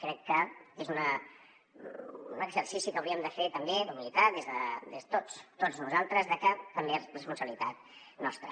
crec que és un exercici que hauríem de fer també d’humilitat tots nosaltres de que també és responsabilitat nostra